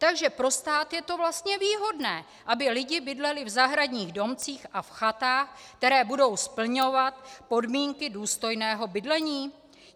Takže pro stát je to vlastně výhodné, aby lidi bydleli v zahradních domcích a v chatách, které budou splňovat podmínky důstojného bydlení?